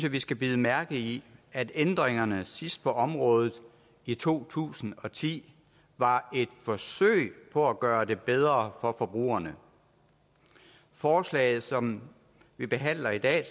at vi skal bide mærke i at ændringerne sidst på området i to tusind og ti var et forsøg på at gøre det bedre for forbrugerne forslaget som vi behandler i dag